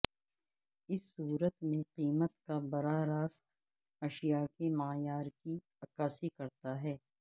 اس صورت میں قیمت کا براہ راست اشیا کے معیار کی عکاسی کرتا ہے